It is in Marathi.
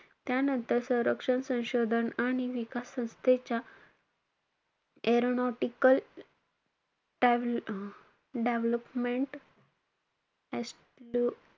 त्यानंतर संरक्षण संशोधन विकास संस्थेच्या aeronautical टॅव अं devlopment